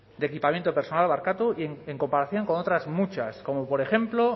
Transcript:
de equipamiento personal en comparación con otras muchas como por ejemplo